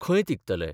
खंय तिगतले?